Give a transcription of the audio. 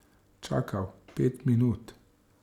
Čakal pet minut.